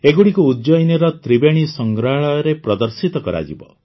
ଏଗୁଡ଼ିକୁ ଉଜ୍ଜୟିନୀର ତ୍ରିବେଣୀ ସଂଗ୍ରହାଳୟରେ ପ୍ରଦର୍ଶିତ କରାଯିବ